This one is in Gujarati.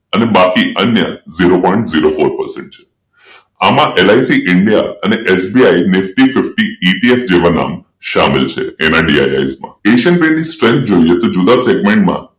અને બાકી અન્ય zero point zero four percent છે આમાં એલ. આઇ. સી ઇન્ડિયા અને એસબીઆઈ nifty fifty જેવા નામ શામેલ છે Asian Paints strength જોઈએ તો જુદા સેગમેન્ટમાં